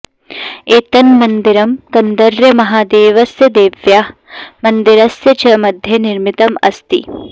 एतन्मन्दिरं कन्दर्यमहादेवस्य देव्याः मन्दिरस्य च मध्ये निर्मितम् अस्ति